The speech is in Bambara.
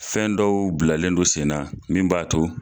Fɛn dɔw bilalen do sen na min b'a to